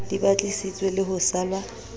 di batlisiswe le ho salwa